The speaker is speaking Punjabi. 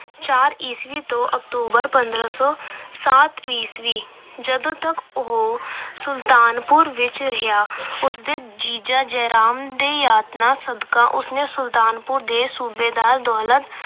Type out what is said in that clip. ਚਾਰ ਈਸਵੀ ਤੋਂ November ਪੰਦਰਾ ਸੌ ਸੱਤ ਈਸਵੀ, ਜਦੋਂ ਤੱਕ ਉਹ ਸੁਲਤਾਨਪੁਰ ਵਿੱਚ ਰਿਹਾ, ਉਸ ਦੇ ਜੀਜੇ ਜੈ ਰਾਮ ਦੇ ਯਤਨਾਂ ਸਦਕਾ ਉਸ ਨੇ ਸੁਲਤਾਨਪੁਰ ਦੇ ਸੂਬੇਦਾਰ ਦੌਲਤ